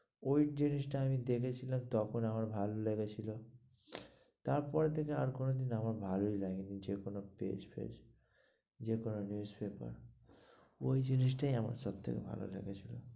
ওই জিনিস টা আমি দেখেছিলাম, তখন আমার ভালো লেগেছিল, তারপরে থেকে আর কোনো দিন আমার ভালো লাগে নি যে কোনো page ফেজে যে কোনো newspaper ওই জিনিসটাই আমার সব থেকে ভালো লেগেছিলো।